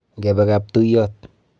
Ngebe kaptuyot